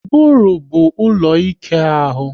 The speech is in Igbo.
Ụbụrụ bụ ụlọ ike ahụ